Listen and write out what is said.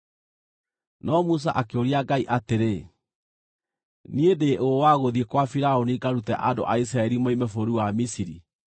No Musa akĩũria Ngai atĩrĩ, “Niĩ ndĩ ũ wa gũthiĩ kwa Firaũni ngarute andũ a Isiraeli moime bũrũri wa Misiri?”